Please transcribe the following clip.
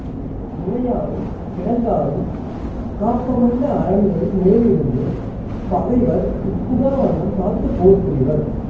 மிளையாலும் கிடங்காலும் காப்பமைந்த அரண்களின் மேலிருந்து பகைவர் உட்புகாவண்ணம் காத்துப் போர் புரிவர்